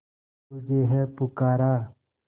तुझे है पुकारा